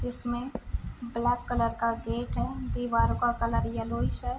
जिसमें black colour का gate है दीवारों का कलर येल्लोइश है ।